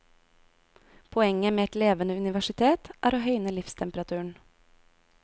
Poenget med et levende universitet er å høyne livstemperaturen.